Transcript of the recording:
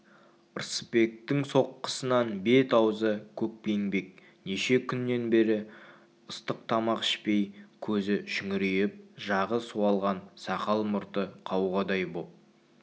рысбектің соққысынан бет-аузы көкпеңбек неше күннен бері ыстық тамақ ішпей көзі шүңірейіп жағы суалған сақал-мұрты қауғадай боп